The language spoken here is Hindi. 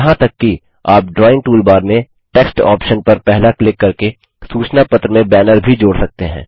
यहाँ तक कि आप ड्राइंग टूलबार में टेक्स्ट ऑप्शन पर पहला क्लिक करके सूचना पत्र में बैनर भी जोड़ सकते हैं